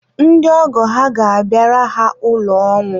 ndị ọgọ ha ga-abịara ha ụlọ ọnwụ.